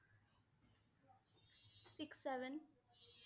six, seven